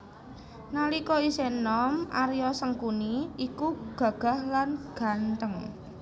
Nalika isih enom Arya Sangkuni iku gagah lan gantheng